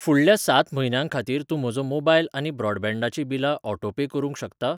फुडल्या सात म्हयन्यां खातीर तूं म्हजो मोबायल आनी ब्रॉडबँडाचीं बिलां ऑटोपे करूंक शकता?